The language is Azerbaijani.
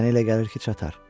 Mənə elə gəlir ki, çatar.